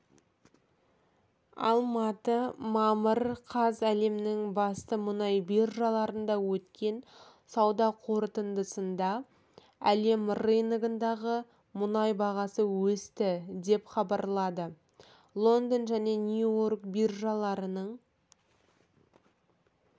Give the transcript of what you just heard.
алматы мамыр қаз әлемнің басты мұнай биржаларында өткен сауда қортындысында әлем рыногындағы мұнай бағасы өсті деп хабарлады лондон және нью-йорк биржаларының